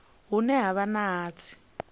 hune ha vha na hatsi